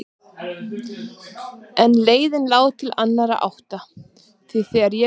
En leiðin lá til annarrar áttar því þegar ég kom til